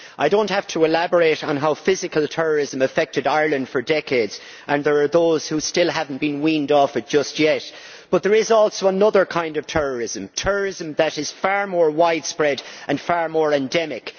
I do not have to elaborate on how physical terrorism affected Ireland for decades and there are those who still have not been weaned off it just yet but there is also another kind of terrorism that is far more widespread and far more endemic.